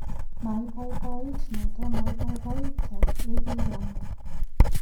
Maibaibait noton, maibaibaitan yegiiyanda.